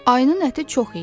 Ayının əti çox idi.